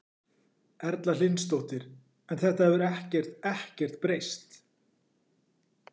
Erla Hlynsdóttir: En þetta hefur ekkert, ekkert breyst?